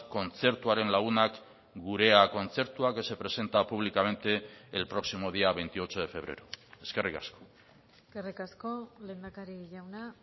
kontzertuaren lagunak gurea kontzertua que se presenta públicamente el próximo día veintiocho de febrero eskerrik asko eskerrik asko lehendakari jauna